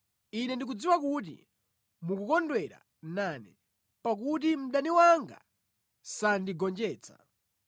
Ine ndikudziwa kuti mukukondwera nane, pakuti mdani wanga sandigonjetsa.